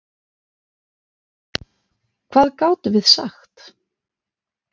Hvað gátum við sagt?